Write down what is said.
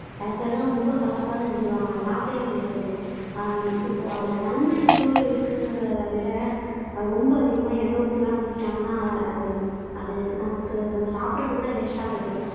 சில பேரெல்லாம் ரொம்ப கசப்பாதான் செஞ்சுருவாங்க சாப்பிடவே முடியாது இப்போ அதுல நன்மை எவ்ளோ இருக்குங்கிறத விட ரொம்ப அதிகமா எண்ணெய் ஊத்தி தான் செஞ்சிட்டாங்கன்னா அது அது நமக்கு நம்ம சாப்பிடுறது கூட வேஸ்டா போயிடும்